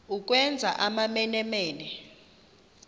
ukwenza amamene mene